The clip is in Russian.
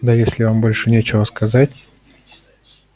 да если вам больше нечего сказать